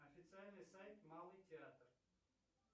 официальный сайт малый театр